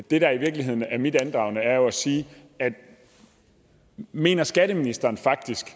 det der i virkeligheden er mit andragende er jo at sige mener skatteministeren faktisk